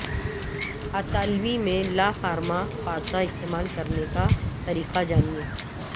اطالوی میں لا فارما پاسا استعمال کرنے کا طریقہ جانیں